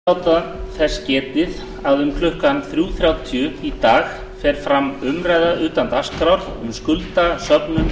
forseti vill láta þess getið að um klukkan þrjú þrjátíu í dag fer fram umræða utan dagskrár um skuldasöfnun í